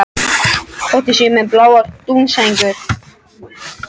Þótt ég sé með báðar dúnsængurnar.